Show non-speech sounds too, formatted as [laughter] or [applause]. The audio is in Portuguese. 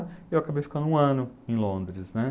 [unintelligible] E eu acabei ficando um ano em Londres, né?